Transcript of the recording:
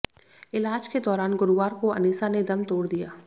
इलाज के दौरान गुरुवार को अनीसा ने दम तोड़ दिया